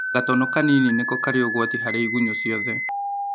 Gatono kanini nĩko karĩ ũgwati harĩ igunyo ciothe